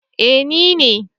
Eh ni ne